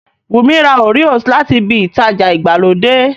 Wùnmí ra Oreos láti ibi ìtajà ìgbàlódé